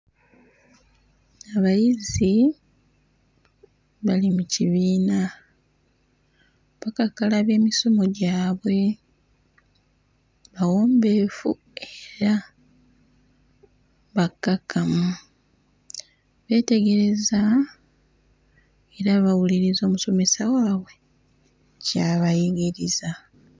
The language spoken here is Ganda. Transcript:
Abayizi bali mu kibiina, bakakkalabya emisomo gyabwe, bawombeefu era bakkakkamu. Beetegereza era bawuliriza omusomesa waabwe ky'abayigiriza.